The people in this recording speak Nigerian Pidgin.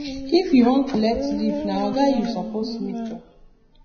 if you wan collect leave na oga you suppose meet o